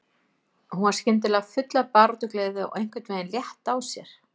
Hún var skyndilega full af baráttugleði og einhvern veginn létt á sér.